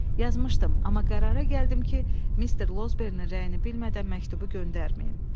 Yazmışdım, amma qərara gəldim ki, Mr. Losbern-in rəyini bilmədən məktubu göndərməyim.